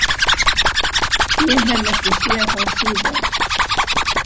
Ég hef ekki séð hann síðan.